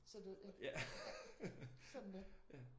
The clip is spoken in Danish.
Så døde ja? Sådan er det